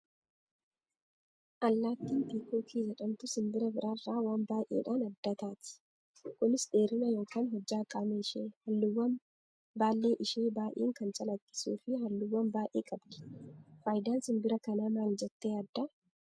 Allaattiin piikookii jedhamtu simbira biraarraa waan baay'eedhaan adda ataati. Kunis dheerina yookaan hojjaa qaama ishee, halluuwwan baallee ishee baay'ee kan calaqqisuu fi halluuwwan baay'ee qabdi. Fayidaan simbira kanaa maali jettee yaaddaa?